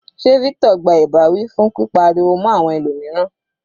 Sé Victor gba ìbáwí fún pípa ariwo mọ́ àwọn ẹlòmíràn.